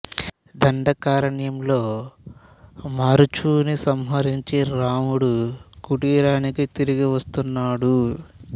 దండ కారణ్యంలో మారీచుని సంహరించి రాముడు కుటీరానికి తిరిగి వస్తున్నాడు